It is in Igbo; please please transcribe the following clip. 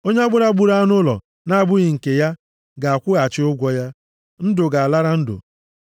Onye gburu anụ ụlọ na-abụghị nke ya, ga-akwụghachi ụgwọ ya. Ndụ ga-alara ndụ.